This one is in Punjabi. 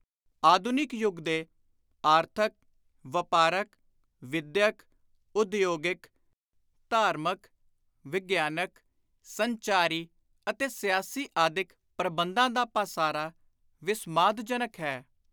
ਆਧੁਨਿਕ ਯੁਗ ਦੇ ਆਰਥਕ, ਵਾਪਾਰਕ, ਵਿਦਿਅਕ, ਉਦਯੋਗਿਕ, ਸੈਨਿਕ, ਧਾਰਮਿਕ, ਵਿਗਿਆਨਕ, ਸੰਚਾਰੀ ਅਤੇ ਸਿਆਸੀ ਆਦਿਕ ਪ੍ਰਬੰਧਾਂ ਦਾ ਪਾਸਾਰਾ ਵਿਸਮਾਦਜਨਕ ਹੈ।